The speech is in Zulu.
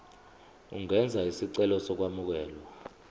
ungenza isicelo sokwamukelwa